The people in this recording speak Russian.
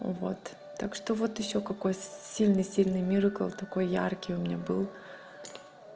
вот так что вот ещё какой сильный сильный миракл такой яркий у меня был